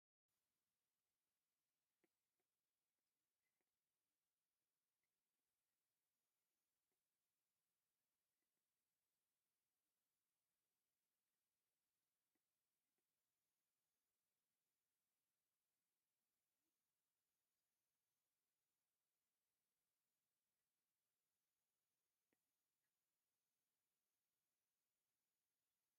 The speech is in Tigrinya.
ኣብዚ ሓደ ጉጅለ ህዝቢ ብሓድነትን ምክብባርን ተኣኪቡ ንርኢ። ኩሎም ብጻዕዳ መሸፈኒ ዝተሸፈኑ ኮይኖም፡ኣብ ኢዶም ድማ ቀጠልያ ጨናፍር ስየ፡ ምልክት ዘመናዊነት ወይ እምነት እዩ። እዚ ልዑል መንፈሳዊ ስምዒት ዘመሓላልፍ እዩ፤ መንፈስ እምነትን ሓድነትን ሰላምን ኣብ ልባዊ ምትሕውዋስ ይነብር።